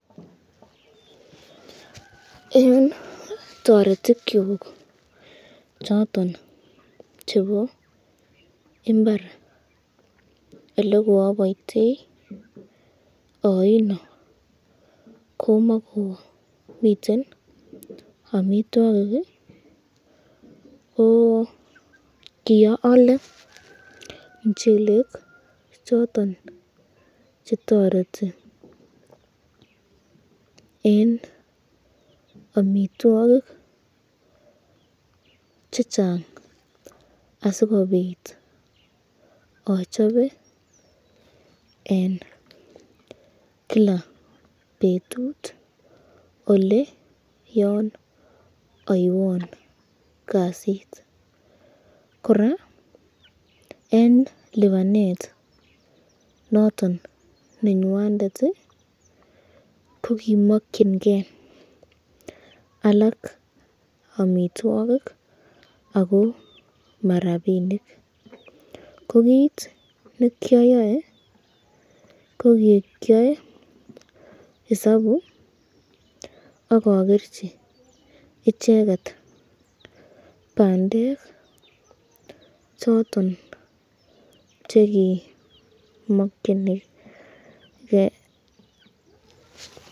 Eng toretikyuk choton chebo imbar, ole koabayteauno komakomiten amitwokik ko kiaale mchelek choton chetariti eng amitwokik chechang asikobit achobe eng Kila betut ele yon aywan kasit, koraa eng lipanet noton nenywandet ko komakyinke alak amitwokik ako ma rapinik, ko kit nekyayae ko kikyoe isabu akakerchi icheket bandek choton chekimakyiniken.